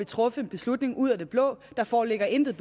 truffet en beslutning ud af det blå der foreligger intet